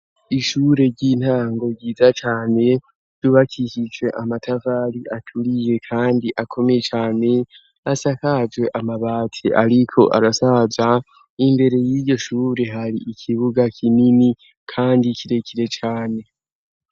Ishure ry'intango ryiza cane ryubakishije amatafali aturiye kandi akomeye cyane asakaje amabati ariko arasaya n'indere y'iyoshure hari ikibuga kinini kandi kirekire cyane.